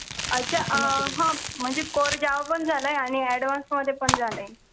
अच्छा अं म्हणजे course java मध्ये पण झालाय आणि advance मध्ये पण झालाय